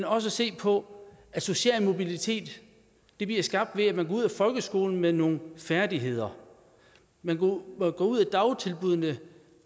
også se på at social mobilitet bliver skabt ved at man går ud af folkeskolen med nogle færdigheder man går ud af dagtilbuddene